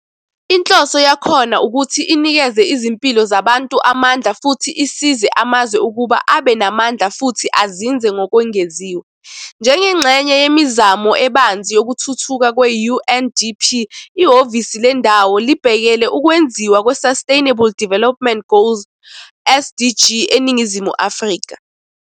Inhloso yakhona ukuthi inikeze izimpilo zabantu amandla futhi isize amazwe ukuba abe namandla futhi azinze ngokwengeziwe. Njengengxenye yemizamo ebanzi yokuthuthuka kwe-UNDP, ihhovisi lendawo libhekele ukwenziwa kweSustainable Development Goals, SDG, eNingizimu Afrika.